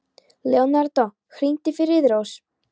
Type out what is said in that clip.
Leonardo, hringdu í Friðrós.